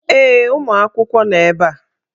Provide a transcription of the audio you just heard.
Ee, ụmụ akwụkwọ nọ ebe a.